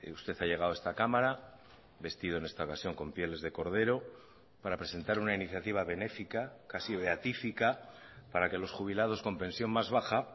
usted ha llegado a esta cámara vestido en esta ocasión con pieles de cordero para presentar una iniciativa benéfica casi beatífica para que los jubilados con pensión más baja